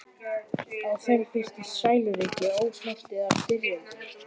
Á þeim birtist sæluríki, ósnortið af styrjöldinni.